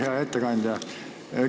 Hea ettekandja!